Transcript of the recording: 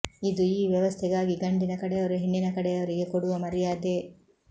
ಇದು ಈ ವ್ಯವಸ್ಥೆಗಾಗಿ ಗಂಡಿನ ಕಡೆಯವರು ಹೆಣ್ಣಿನ ಕಡೆಯವರಿಗೆ ಕೊಡುವ ಮರ್ಯಾದೆ